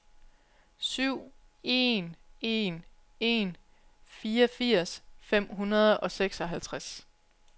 syv en en en fireogfirs fem hundrede og seksoghalvtreds